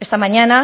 esta mañana